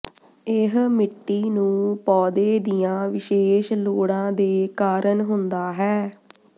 ਇਹ ਮਿੱਟੀ ਨੂੰ ਪੌਦੇ ਦੀਆਂ ਵਿਸ਼ੇਸ਼ ਲੋੜਾਂ ਦੇ ਕਾਰਨ ਹੁੰਦਾ ਹੈ